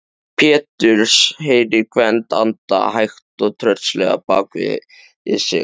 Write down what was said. Péturs, heyrir Gvend anda hægt og tröllslega bak við sig.